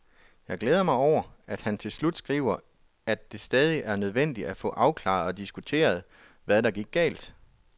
Jeg glæder mig over, at han til slut skriver, at det stadig er nødvendigt at få afklaret og diskuteret, hvad der gik galt.